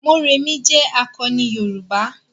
Mọ́remí jé akọni yoruba.